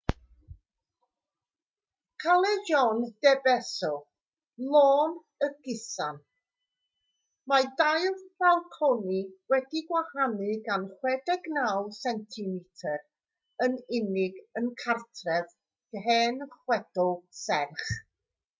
callejon de beso lôn y gusan. mae dau falconi wedi'u gwahanu gan 69 centimetr yn unig yn gartref hen chwedl serch